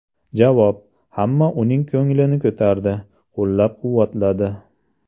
Javob: Hamma uning ko‘nglini ko‘tardi, qo‘llab-quvvatladi.